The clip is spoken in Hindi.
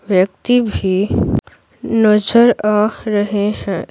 व्यक्ति भी नजर आ रहे हैं।